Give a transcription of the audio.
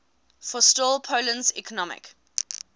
forestall poland's economic